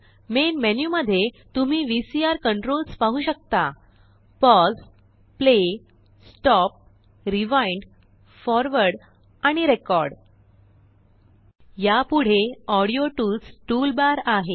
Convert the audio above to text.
main मेनूमध्ये तुम्हीVCR controls पाहू शकता - pause pause play play stop stop rewind rewind forward forward आणिRecord रेकॉर्ड यापुढे ऑडियो टूल्स टूलबार आहे